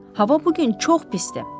Hava bu gün çox pisdir.